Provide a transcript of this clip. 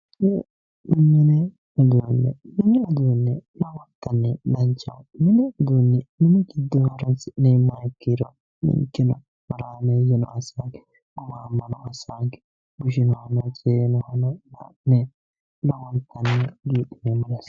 Mini uduunni mine horoonsi'neemoreeti horoonsi'numoronno meessaneete horaameeye assitanno